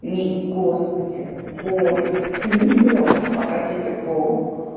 ни господи боже ты не можешь обратиться к богу